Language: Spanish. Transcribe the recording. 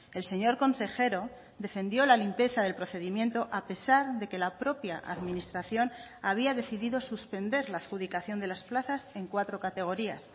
el señor consejero defendió la limpieza del procedimiento a pesar de que la propia administración había decidido suspender la adjudicación de las plazas en cuatro categorías